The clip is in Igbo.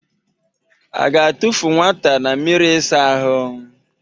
A ga-atụfụ nwata na mmịrị ịsa ahụ?